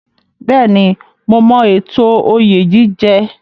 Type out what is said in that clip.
Bẹ́ẹ̀ni, mo mọ ètò oyè jíjẹ.